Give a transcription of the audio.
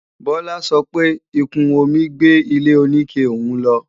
Bolu sọ pé ìkún omi gbé ilé-oníke òun lọ